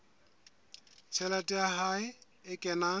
tjhelete ya hae e kenang